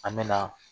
An mɛna